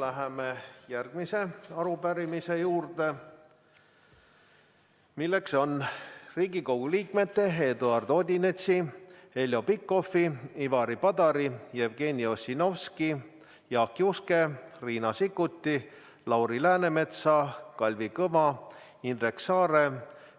Läheme järgmise arupärimise juurde, milleks on Riigikogu liikmete Eduard Odinetsi, Heljo Pikhofi, Ivari Padari, Jevgeni Ossinovski, Jaak Juske, Riina Sikkuti, Lauri Läänemetsa, Kalvi Kõva, Indrek Saare,